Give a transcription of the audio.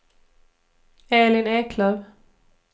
Elin Eklöf